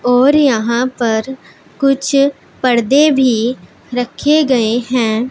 और यहां पर कुछ परदे भी रखे गएं हैं।